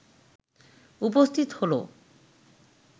উপস্থিত হল